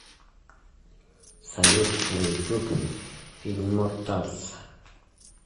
салют на ютуб имморталс